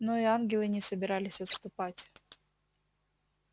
но и ангелы не собирались отступать